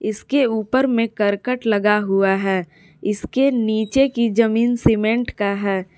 इसके ऊपर में करकट लगा हुआ है इसके नीचे की जमीन सीमेंट का है।